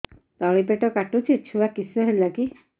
ତଳିପେଟ କାଟୁଚି ଛୁଆ କିଶ ହେଲା କି